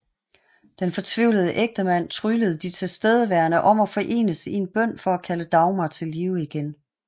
Den fortvivlede enkemand tryglede de tilstedeværende om at forenes i en bøn for at kalde Dagmar til live igen